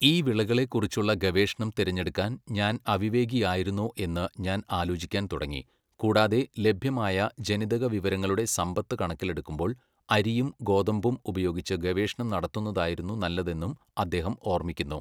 ഈ വിളകളെക്കുറിച്ചുള്ള ഗവേഷണം തിരഞ്ഞെടുക്കാൻ ഞാൻ അവിവേകിയായിരുന്നോ എന്ന് ഞാൻ ആലോചിക്കാൻ തുടങ്ങി, കൂടാതെ, ലഭ്യമായ ജനിതക വിവരങ്ങളുടെ സമ്പത്ത് കണക്കിലെടുക്കുമ്പോൾ, അരിയും ഗോതമ്പും ഉപയോഗിച്ച് ഗവേഷണം നടത്തുന്നതായിരുന്നു നല്ലതെന്നും അദ്ദേഹം ഓർമ്മിക്കുന്നു